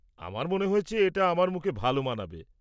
আমার মনে হয়েছে এটা আমার মুখে ভালো মানাবে।